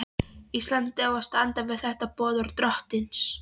Íslandi að standa við þetta boðorð drottins.